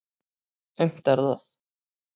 Aumt er það.